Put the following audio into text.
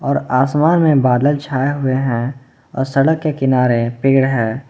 और आसमान में बादल छाए हुए हैं अ सड़क के किनारे पेड़ हैं।